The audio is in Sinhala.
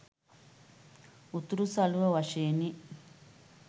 උතුරු සළුව වශයෙනි.